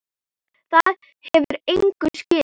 Það hefur engu skilað.